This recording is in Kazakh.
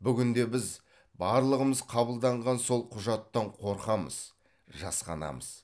бүгінде біз барлығымыз қабылданған сол құжаттан қорқамыз жасқанамыз